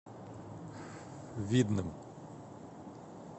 видным